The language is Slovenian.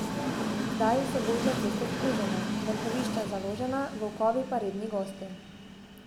Zdaj so gozdne ceste splužene, mrhovišča založena, volkovi pa redni gostje.